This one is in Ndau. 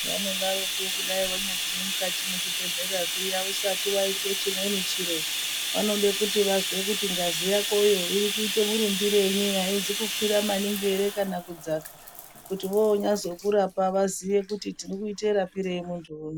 Vanodaroko kudai wanyagume mukati mwezvibhehlera zviya usati waitwe chimweni chiro vanode kuti vazve ngazi yakoyo irikuite murumbirenyi haizi kukwira maningi ere kana kudzaka kuti vozokurapa vaziye kuti tirikuite rapirei muntu uno.